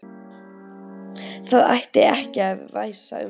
Það ætti ekki að væsa um þig.